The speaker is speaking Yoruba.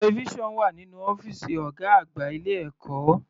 Television wà nínú ọ́fìsì ọ̀gá àgbà ilé ẹ̀kọ́.